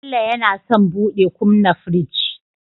Bello yAna son buɗe kumna firji